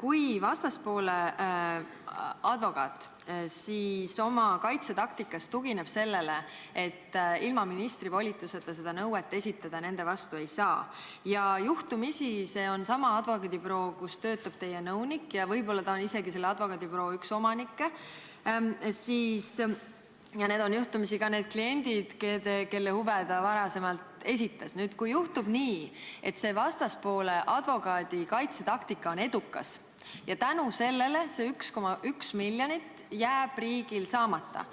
Kui vastaspoole advokaat oma kaitsetaktikas tugineb sellele, et ilma ministri volituseta seda nõuet nende vastu esitada ei saa, ja juhtumisi on see sama advokaadibüroo, kus töötab teie nõunik, võib-olla on ta isegi selle advokaadibüroo üks omanikke ja need on juhtumisi ka need kliendid, kelle huve ta varem esindas, ning kui juhtub nii, et vastaspoole advokaadi kaitsetaktika on edukas ja tänu sellele jääb see 1,1 miljonit riigil saamata,